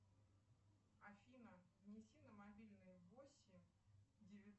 афина внеси на мобильный восемь